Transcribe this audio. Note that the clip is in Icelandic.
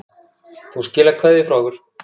Þú skilar kveðju frá okkur.